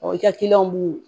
i ka kiliyanw b'u